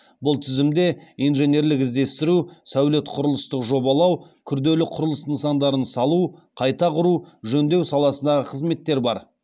бұл тізімде инженерлік іздестіру сәулет құрылыстық жобалау күрделі құрылыс нысандарын салу қайта құру жөндеу саласындағы қызметтер бар